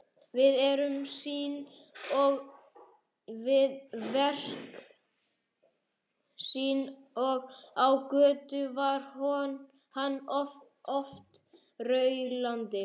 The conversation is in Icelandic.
Við verk sín og á götu var hann oft raulandi.